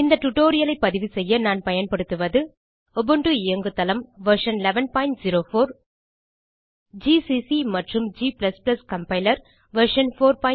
இந்த tutorialஐ பதிவுசெய்ய நான் பயன்படுத்துவது உபுண்டு இயங்குதளம் வெர்ஷன் 1104 ஜிசிசி மற்றும் g கம்பைலர் வெர்ஷன் 461